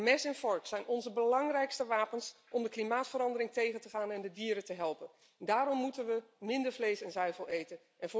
Mes en vork zijn onze belangrijkste wapens om de klimaatverandering tegen te gaan en de dieren te helpen. Daarom moeten we minder vlees en zuivel eten.